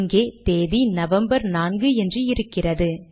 இங்கே தேதி நவம்பர் நான்கு என்று இருக்கிறது